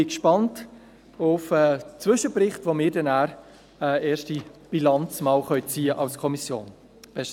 Ich bin gespannt auf den Zwischenbericht, mit dem wir als Kommission eine erste Bilanz ziehen können.